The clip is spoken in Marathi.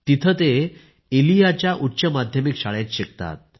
तिथे ते इलियाच्या उच्च माध्यमिक शाळेत शिकतात